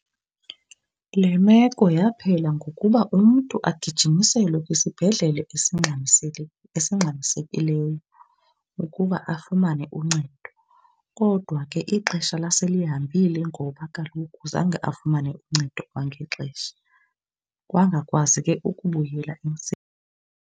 Le meko yaphela ngokuba umntu agijimiselwe kwisibhedlele esingxamisekileyo ukuba afumane uncedo. Kodwa ke ixesha laselihambile ngoba kaloku zange afumane ncedo kwangexesha, wangakwazi ke ukubuyela .